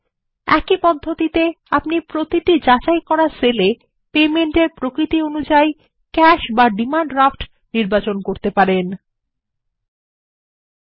একই পদ্ধতিতে আপনি নির্বাচন করতে পারেন ক্যাশ বা ডিমান্ড ড্রাফট প্রতিটি যাচাই সেল এর জন্য তৈরি করা মোড অফ পেমেন্ট হিসেবে